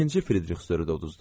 İkinci Fridrixsürü də uduzduq.